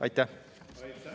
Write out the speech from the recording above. Aitäh!